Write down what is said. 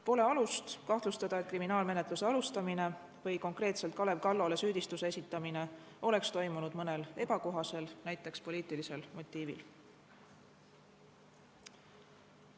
Pole alust kahtlustada, et kriminaalmenetluse alustamine või konkreetselt Kalev Kallole süüdistuse esitamine oleks toimunud mõnel ebakohasel, näiteks poliitilisel motiivil.